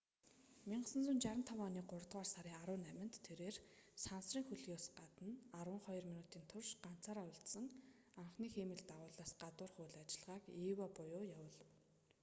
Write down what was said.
1965 оны гуравдугаар сарын 18-нд тэрбээр сансрын хөлгийн гадна арван хоёр минутын турш ганцаараа үлдсэн анхны хиймэл дагуулаас гадуурх үйл ажиллагааг eva буюу явуулав